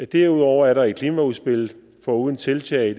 derudover er der i klimaudspillet foruden tiltag